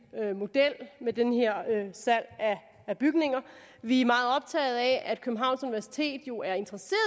model med det her salg af bygninger vi er meget optaget af at københavns universitet jo er interesseret